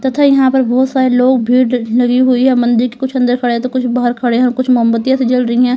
तथा यहां पर बहुत सारे लोग भीड़ लगी हुई है मंदिर की कुछ अंदर खड़े तो कुछ बाहर खड़े हैं कुछ मोमबत्तियां से जल रही है।